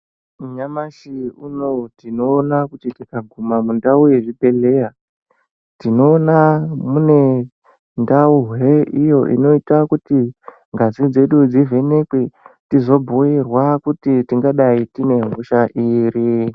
Nyamashi unowu tinoona kuti tikaguma mundau yechibhedhleya tinoona mune ndau iyo inoita kuti ngazi dzedu dzivhenekwr tizobhuirwa kuti tingadai tine hosha iri.